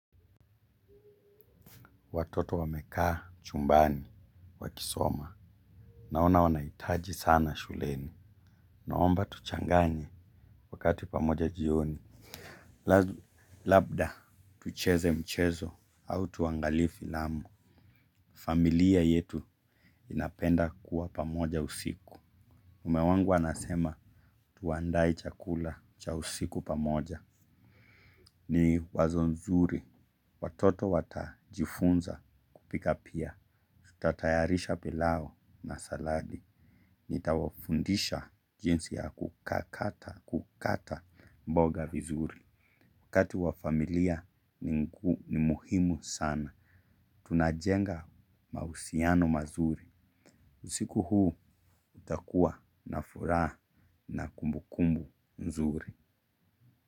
Watoto wamekaa chumbani wakisoma. Naona wanaitaji sana shuleni. Naomba tuchanganye wakati pamoja jioni. Lazu labda. Tucheze mchezo au tuangalie filamu. Familia yetu inapenda kuwa pamoja usiku. Mume wangu anasema tuandae chakula cha usiku pamoja. Ni wazo nzuri. Watoto watajifunza kupika pia. Tatayarisha pilau na saladi. Nitawafundisha jinsi ya kukata mboga vizuri. Wakati wa familia ni muhimu sana. Tunajenga mausiano mazuri. Usiku huu utakua na furaha na kumbu kumbu nzuri.